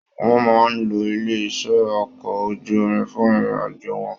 Wọn máa n ló ilé iṣẹ okọ̀ ojú omi fún ìrìn àjò wọn.